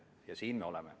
Ja siin me oleme.